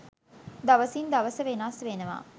දවසින් දවස වෙනස් වෙනවා.